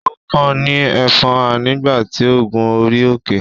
ó kán ní ẹfọ́nhà nígbà tí ó ń gun orí-òkè.